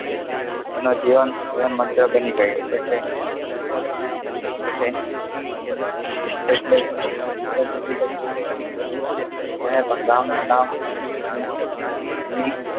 એનુ જીવન મંત્ર બની ગયું એટલ એટ એટલે જિંદગી ની ચલ્લી સુધી રામ નું નામ